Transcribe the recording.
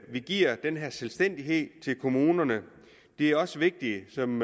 vi giver selvstændighed til kommunerne det er også vigtigt som